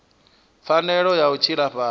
pfanelo ya u tshila fhasi